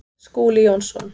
Skúli Jónsson